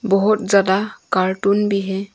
बहुत ज्यादा कार्टून भी है।